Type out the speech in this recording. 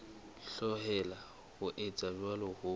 hloleha ho etsa jwalo ho